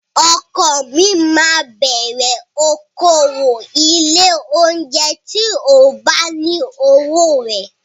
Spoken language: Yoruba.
Ọkọ mi máa bẹ̀rẹ̀ okòwò ilé-oúnjẹ tí ó bá ní owó rẹ̀.